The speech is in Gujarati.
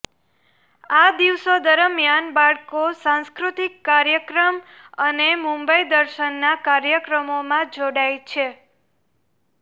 આ દિવસો દરમિયાન બાળકો સાંસ્કૃતિક કાર્યક્રમ અને મુંબઈદર્શનના કાર્યક્રમોમાં જોડાયા છે